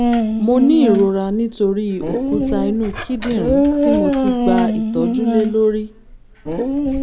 mo ní ìrora nítorí òkúta inú kíndìnrín tí mo ti gba ìtọ́jú lé lórí?